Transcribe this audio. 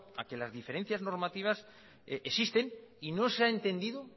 a que las diferencias normativas existen y no se ha entendido